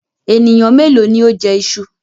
Ènìyàn méèló ni ó jẹ iṣu?